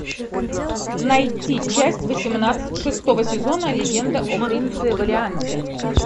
найти часть восемнадцать шестого сезона легенда о принце валианте